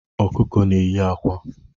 Ọkụkọ na-eye akwa.